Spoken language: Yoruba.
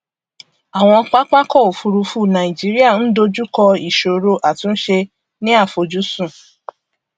àwọn pápákọ òfurufú nàìjíríà ń dojú kọ ìsòro àtúnṣe ni àfojúsùn